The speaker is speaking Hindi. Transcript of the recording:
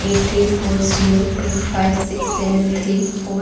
eight three four zero two five six seven three four --